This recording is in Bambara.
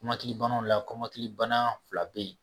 Matigi banaw la kɔɲɔtigi bana fila be ye